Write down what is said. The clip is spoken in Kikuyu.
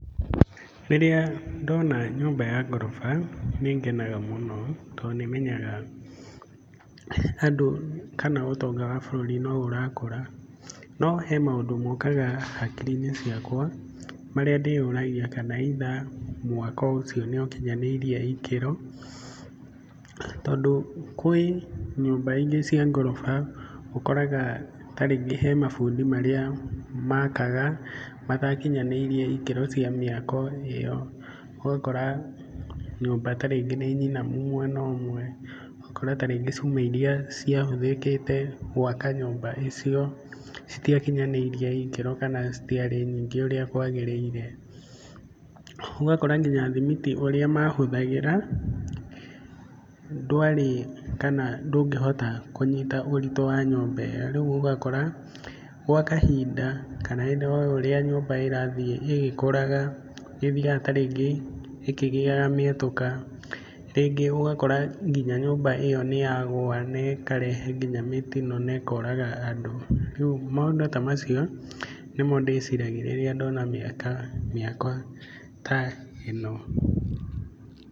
Rĩrĩa ndona nyũmba ya ngoroba, nĩ ngenaga mũno tondũ nĩ menyaga handũ, kana ũtonga wa bũrũri no ũrakũra. No he maũndũ mokaga hakiri-inĩ ciakwa, marĩa ndĩyũragia kana either mwaka ũcio nĩ ũkinyanĩire ikĩro. Tondũ kwĩ nyũmba ingĩ cia ngoroba ũkoraga ta rĩngĩ he mabundi marĩa maakaga matakinyanĩirie ikĩro cia mĩako ĩyo. Ũgakora nyũmba ta rĩngĩ nĩ nyinamu mwena ũmwe, ũgakora ta rĩngĩ cuma irĩa ciahũthĩkĩte gũaka nyũmba ĩyo citiakinyanĩirie ikĩro kana citiarĩ nyingĩ ũrĩa kwagĩrĩire. Ũgakora nginya thimiti ũrĩa mahũthagĩra ndwarĩ, kana ndũngĩhota kũnyita ũritũ wa nyũmba ĩyo. Rĩu ũgakora gwa kahinda kana o ũrĩa nyũmba ĩrathiĩ ĩgĩkũraga, nĩ ĩthiaga ta rĩngĩ ĩkĩgĩaga mĩatũka. Rĩngĩ ũgakora nginya nyũmba ĩyo nĩ yagũa na ĩkarehe nginya mĩtino na ĩkoraga andũ. Rĩu maũndũ ta macio nĩmo ndĩciragia rĩrĩa ndona mĩaka, mĩako ta ĩno.